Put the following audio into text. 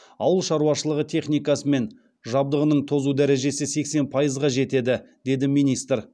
ауыл шаруашылығы техникасы мен жабдығының тозу дәрежесі сексен пайызға жетеді деді министр